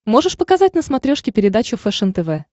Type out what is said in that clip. можешь показать на смотрешке передачу фэшен тв